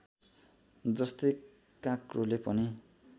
जस्तै काँक्रोले पनि